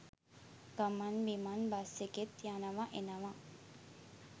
ගමන් බිමන් බස් එකේත් යනවා එනවා.